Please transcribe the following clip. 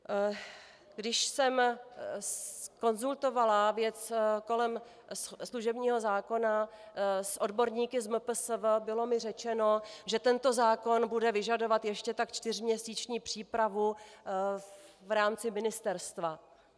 Když jsem konzultovala věc kolem služebního zákona s odborníky z MPSV, bylo mi řečeno, že tento zákon bude vyžadovat ještě tak čtyřměsíční přípravu v rámci ministerstva.